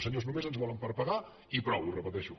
senyors només ens volen per pagar i prou ho repeteixo